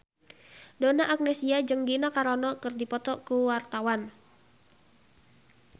Donna Agnesia jeung Gina Carano keur dipoto ku wartawan